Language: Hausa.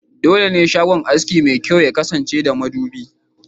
Dole ne shagon aski mai kyau ya kasance da madubi*